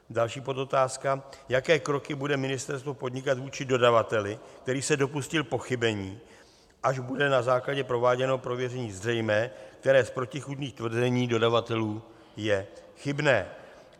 Další podotázka: Jaké kroky bude ministerstvo podnikat vůči dodavateli, který se dopustil pochybení, až bude na základě prováděného prověření zřejmé, které z protichůdných tvrzení dodavatelů je chybné?